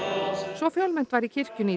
svo fjölmennt var í kirkjunni